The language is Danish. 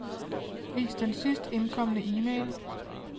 Vis den sidst indkomne e-mail.